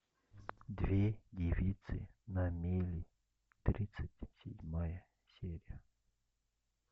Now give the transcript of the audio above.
две девицы на мели тридцать седьмая серия